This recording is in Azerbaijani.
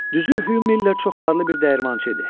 Düzü Hüv Miller çox varlı bir dəyirmançı idi.